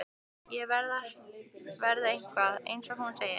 Að ég verði eitthvað, eins og hún segir.